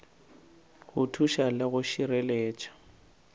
go thuša le go šireletša